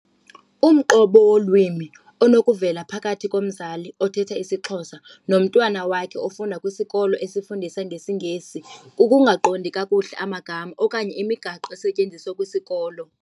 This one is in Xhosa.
Umqobo wolwimi onokuvela phakathi komzali othetha isiXhosa nomntwana wakhe ofunda kwisikolo esifundisa ngesiNgesi, kukungaqondi kakuhle amagama okanye imigaqo esetyenziswa kwisikolo.